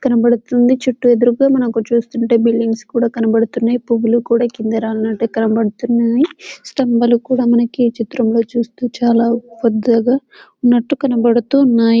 కనబడుతుంది చుట్టూ ఎదురుగా మనకుచూస్తుంటే మనకు బిల్డింగ్స్ కనబడుతున్నాయి పువ్వులు కూడా కింద రాలినట్టుగా కనబుతున్నాయి స్తంబాలు కూడా ఈ చిత్రంలో చుస్తే చాలా పెద్దగా ఉన్నట్టుగా కనబడుతున్నాయి.